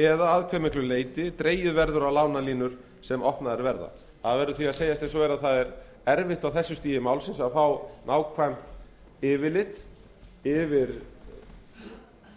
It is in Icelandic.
eða að hve miklu leyti dregið verður á lánalínur sem opnaðar verða það verður því að segjast eins og er að á þessu stigi málsins er erfitt að fá nákvæmt yfirlit yfir